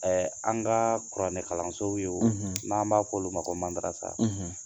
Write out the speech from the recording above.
Ɛɛ an ka kuranɛkalanso ye, n'an b'a fɔ olu ma ko mandarasa